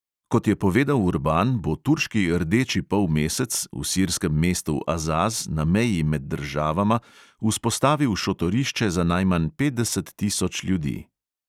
Kot je povedal urban, bo turški rdeči polmesec v sirskem mestu azaz na meji med državama vzpostavil šotorišče za najmanj petdeset tisoč ljudi.